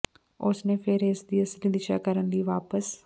ਉਸ ਨੇ ਫਿਰ ਇਸ ਦੀ ਅਸਲੀ ਦਿਸ਼ਾ ਕਰਨ ਲਈ ਵਾਪਸ